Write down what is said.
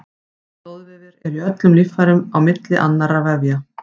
Stoðvefir eru í öllum líffærum á milli annarra vefja.